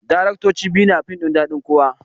Daraktoci biyu ne a fim ɗin daɗin kowa